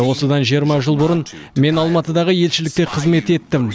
осыдан жиырма жыл бұрын мен алматыдағы елшілікте қызмет еттім